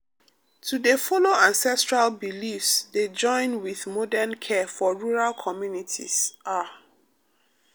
to dey follow ancestral beliefs dey join with modern care for rural communities ah pause.